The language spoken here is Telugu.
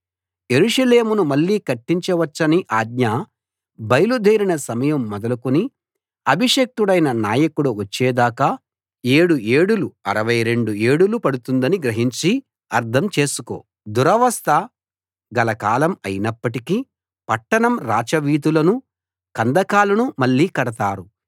యెరూషలేమును మళ్ళీ కట్టించవచ్చని ఆజ్ఞ బయలు దేరిన సమయం మొదలుకుని అభిషిక్తుడైన నాయకుడు వచ్చే దాకా ఏడు ఏడులు 62 ఏడులు పడుతుందని గ్రహించి అర్థం చేసుకో దురవస్థ గల కాలం అయినప్పటికీ పట్టణం రాచవీధులను కందకాలను మళ్ళీ కడతారు